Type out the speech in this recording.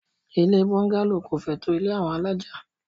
Ilé búngálò kò fẹ́ tó àwọn ilé alájà.